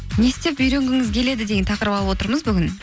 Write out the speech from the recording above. не істеп үйренгіңіз келеді деген тақырып алып отырмыз бүгін